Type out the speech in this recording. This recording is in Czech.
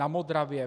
Na Modravě?